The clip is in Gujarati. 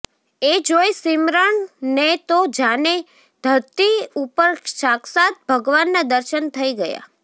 એ જોઈ સીમરણ ને તો જાને ધરતી ઉપર સાક્ષાત ભગવાન ના દર્શન થઈ ગયા